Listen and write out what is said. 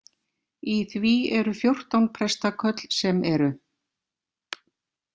Í því eru fjórtán prestaköll sem eru.